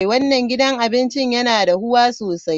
Wannan gidan abincin yana dahuwa sosai.